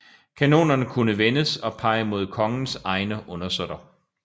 Kanonerne kunne vendes og pege mod kongens egne undersåtter